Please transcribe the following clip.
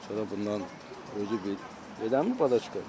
Sonra bundan özü bil, eləmir papaşka?